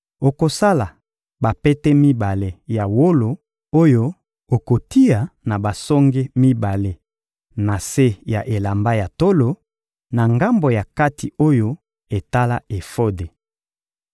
Okosala bapete mibale ya wolo oyo okotia na basonge mibale ya se ya elamba ya tolo, na ngambo ya kati oyo etala efode.